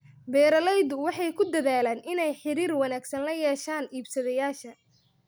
Beeraleydu waxay ku dadaalaan inay xiriir wanaagsan la yeeshaan iibsadayaasha.